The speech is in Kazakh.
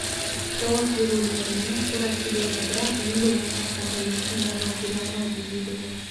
жауап берулеріне тура келеді бірақ енді ол сұрақтарға ешкім дәл жауап бере алмайды дейді ол